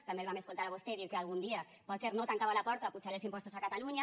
també el vam escoltar a vostè dir que algun dia potser no tancava la porta a apujar els impostos a catalunya